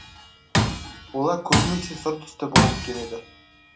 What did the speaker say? олар көбінесе сұр түсті болып келеді